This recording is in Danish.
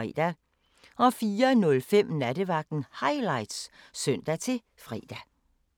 04:05: Nattevagten Highlights (søn-fre)